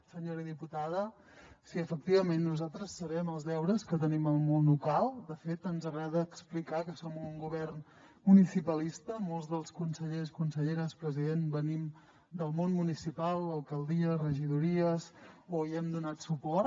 senyora diputada sí efectivament nosaltres sabem els deures que tenim al món local de fet ens agrada explicar que som un govern municipalista molts dels consellers conselleres president venim del món municipal alcaldia regidories o hi hem donat suport